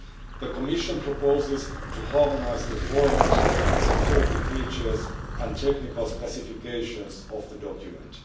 The Commission proposes to harmonise the format, security features and technical specifications of the document.